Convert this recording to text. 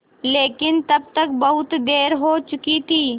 लेकिन तब तक बहुत देर हो चुकी थी